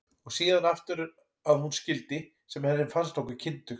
Og síðan aftur eftir að hún skildi, sem henni fannst nokkuð kyndugt.